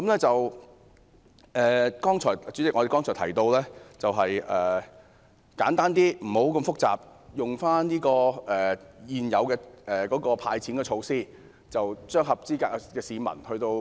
主席，我剛才提到簡單的派錢做法，不用那麼複雜，便是利用現有的"派錢"安排，"派錢"給合資格的市民。